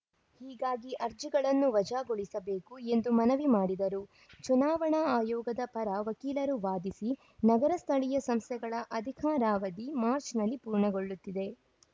ಹೀಗಾಗಿ ಅರ್ಜಿಗಳನ್ನು ವಜಾಗೊಳಿಸಬೇಕು ಎಂದು ಮನವಿ ಮಾಡಿದರು ಚುನಾವಣಾ ಆಯೋಗದ ಪರ ವಕೀಲರು ವಾದಿಸಿ ನಗರ ಸ್ಥಳೀಯ ಸಂಸ್ಥೆಗಳ ಅಧಿಕಾರಾವಧಿ ಮಾರ್ಚ್ ನಲ್ಲಿ ಪೂರ್ಣಗೊಳ್ಳುತ್ತಿದೆ